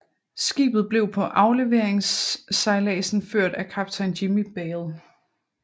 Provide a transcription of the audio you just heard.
Skibet blev på afleveringsejladsen ført af kaptajn Jimmy Balle